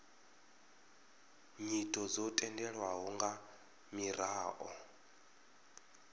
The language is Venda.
nyito dzo tendelwaho nga miraḓo